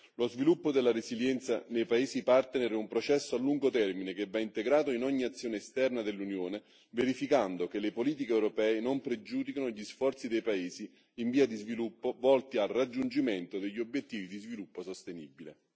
Lo sviluppo della resilienza nei paesi partner è un processo a lungo termine che va integrato in ogni azione esterna dell'Unione, verificando che le politiche europee non pregiudichino gli sforzi dei paesi in via di sviluppo volti al raggiungimento degli obiettivi di sviluppo sostenibile.